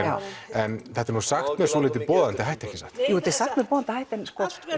en þetta er sagt með svolítið boðandi hætti ekki satt jú þetta er sagt með boðandi hætti en